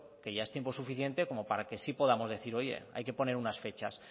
que ya es tiempo suficiente como para que sí podamos decir oye hay que poner unas fechas